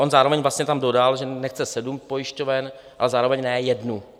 On zároveň vlastně tam dodal, že nechce sedm pojišťoven a zároveň ne jednu.